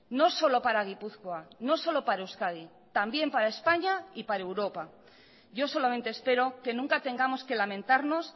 no solo para gipuzkoa no solo para euskadi también para españa y para europa yo solamente espero que nunca tengamos que lamentarnos